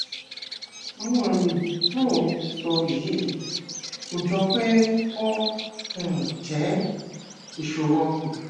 àwọn àmì tó ò ń sọ yìí kò jọ pé ó um jẹ ìṣòro ọkàn